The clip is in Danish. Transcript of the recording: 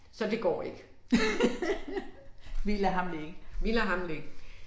Så det går ikke. Vi lader ham ligge